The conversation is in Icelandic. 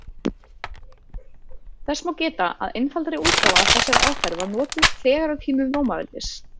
Þess má geta að einfaldari útgáfa af þessari aðferð var notuð þegar á tímum Rómaveldis.